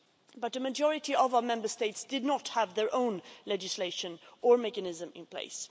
But the majority of our Member States did not have their own legislation or mechanism in place.